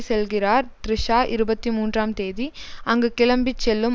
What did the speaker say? செல்கிறார் த்ரிஷா இருபத்தி மூன்றாம் தேதி அங்கு கிளம்பி செல்லும்